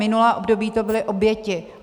Minulé období to byly oběti.